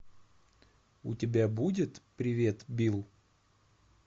у тебя будет привет билл